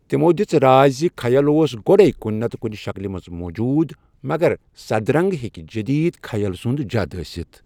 تِمَو دِژ راے زِ خیَل اوس گۄڈے کُنہِ نتہٕ کُنہِ شکلہِ منٛز موٗجوٗد، مگر سدرنٛگ ہیٚکہِ جدید خیَل سُنٛد جد ٲسِتھ۔